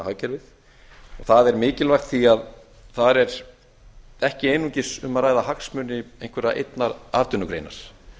hagkerfið og það er mikilvægt því þar er ekki einungis um að ræða hagsmuni einnar atvinnugreinar